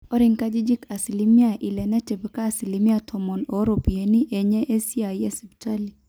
ore nkajijik asilimia ile netipika asilimia tomon ooropiyiani enye esiai esipitali